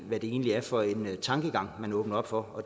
hvad det egentlig er for en tankegang man åbner op for og